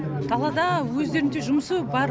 далада өздерінше жұмысы бар